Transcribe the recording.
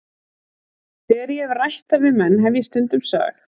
Þegar ég hef rætt það við menn hef ég stundum sagt